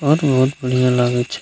बहुत-बहुत बढ़ियाँ लागे छै।